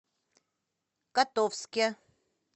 котовске